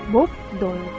Bob Doyle.